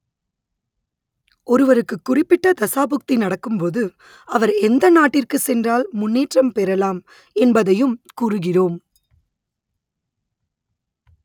ஒருவருக்கு குறிப்பிட்ட தசாபுக்தி நடக்கும் போது அவர் எந்த நாட்டிற்கு சென்றால் முன்னேற்றம் பெறலாம் என்பதையும் கூறுகிறோம்